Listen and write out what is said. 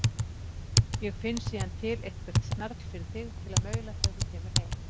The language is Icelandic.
Ég finn síðan til eitthvert snarl fyrir þig til að maula þegar þú kemur heim.